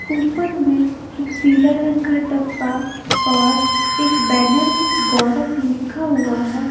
ऊपर में एक पीला रंग का डब्बा और एक बैनर में गौरव लिखा हुआ है।